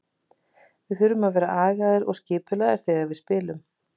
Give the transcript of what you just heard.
Við þurfum að vera agaðir og skipulagðir þegar við spilum.